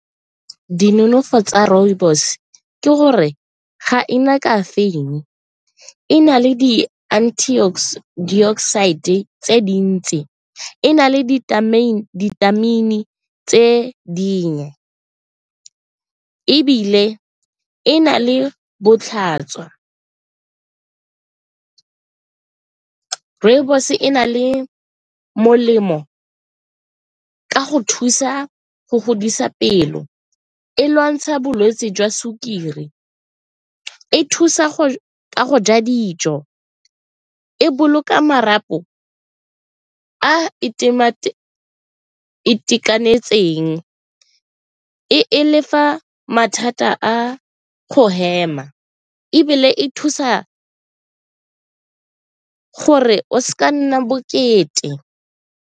Dinonofo tsa rooibos ke gore ga e na kafeine, e na le di-antidioxide tse dintsi e na le di-vitamin tse dinnye ebile e na le botlhaswa. Rooibos e na le molemo ka go thusa go godisa pelo, e lwantsha bolwetse jwa sukiri, e thusa go ka go ja dijo, e boloka marapo a itekanetseng e mathata a go hema ebile e thusa gore o seka nna bokete.